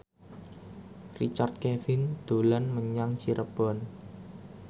Richard Kevin dolan menyang Cirebon